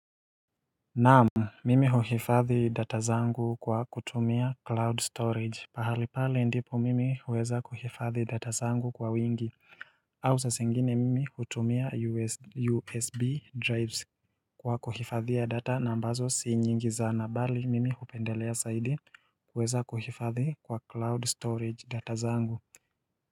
Naamu, mimi huhifadhi data zangu kwa kutumia cloud storage, pahali pale ndipo mimi uweza kuhifadhi data zangu kwa wingi, au saa zingine mimi hutumia USB drives kwa kuhifadhi data na ambazo si nyingi sana, bali mimi hupendelea zaidi kuhifadhi kwa cloud storage data zangu.